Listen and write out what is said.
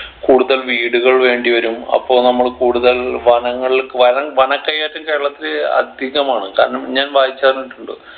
കൂടുതൽ വീടുകൾ വേണ്ടി വരും അപ്പോ നമ്മൾ കൂടുതൽ വനങ്ങൾ വനം വന കയ്യേറ്റം കേരളത്തിൽ അധികമാണ് കാരണം ഞാൻ വായിച്ചറിഞ്ഞിട്ടുണ്ട്